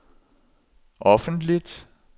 offentligt